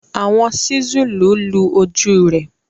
Awọn sísúlù lu oju rẹ